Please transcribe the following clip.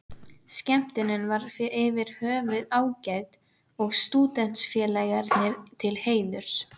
Skemmtunin var yfir höfuð ágæt og Stúdentafélaginu til heiðurs.